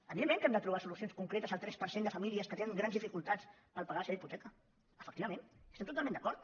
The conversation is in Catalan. evidentment que hem de trobar solucions concretes al tres per cent de famílies que tenen grans dificultats per pagar la seva hipoteca efectivament hi estem totalment d’acord